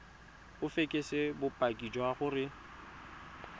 o fekese bopaki jwa gore